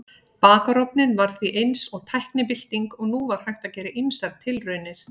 Bakarofninn var því eins og tæknibylting og nú var hægt að gera ýmsar tilraunir.